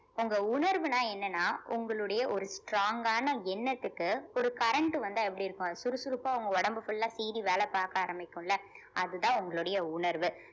உங்க உணர்வுனா என்னன்னா உங்களுடைய ஒரு strong கான எண்ணத்துக்கு ஒரு current உ வந்தா எப்படி இருக்கும் அது சுறுசுறுப்பா உங்க உடம்பு full ஆ சீறி வேல பாக்க ஆரம்பிக்கும்ல அதுதான் உங்களுடைய உணர்வு